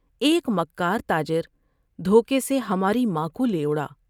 ایک مکار تا جر وھو کے سے ہماری ماں کو لے اڑا ۔